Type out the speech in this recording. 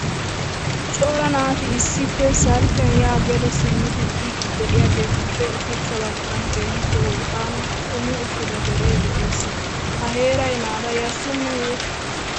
cora naati issippe salpiya ya gede simmidi biidi de'iyaagetuppe ushachcha baggan keehipp wolqqama xumi uttida dere de'ees. ha heeray naata yashsheneye?